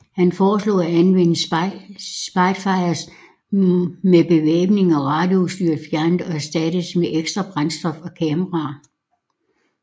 Han foreslog at anvende Spitfires med bevæbningen og radioudstyret fjernet og erstattet med ekstra brændstof og kameraer